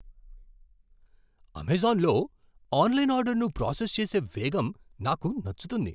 అమెజాన్లో ఆన్లైన్ ఆర్డర్ను ప్రాసెస్ చేసే వేగం నాకు నచ్చుతుంది.